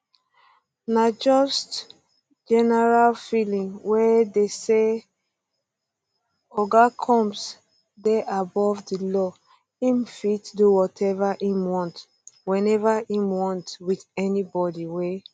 na just general feeling wey dey say [oga combs] dey above di law im fit do whatever im want whenever im want wit anybodi wey